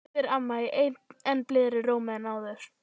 spyr amma í enn blíðari rómi en áður.